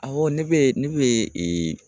Awɔ ne bɛ ne ye